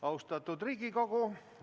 Austatud Riigikogu!